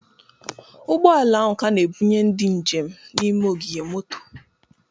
Ụgbọ ala ahụ ka na-ebunye ndị njem n'ime ogige moto